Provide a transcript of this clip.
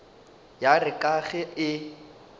ya re ka ge e